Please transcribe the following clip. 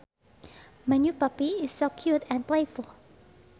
My new puppy is so cute and playful